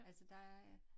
Altså der er